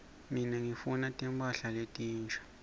mine ngifuna timphahla letinsha